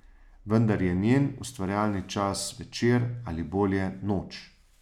Vendar je njen ustvarjalni čas večer, ali bolje, noč.